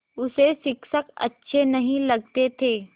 उसे शिक्षक अच्छे नहीं लगते थे